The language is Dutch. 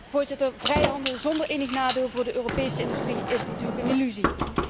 Voorzitter, vrijhandel zonder enig nadeel voor de Europese industrie is natuurlijk een illusie.